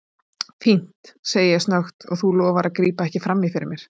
Fínt, segi ég snöggt, og þú lofar að grípa ekki frammí fyrir mér.